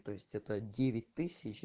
то есть это девять тысяч